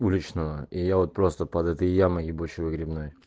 уличного и я вот просто под этой ямой ебучей выгребной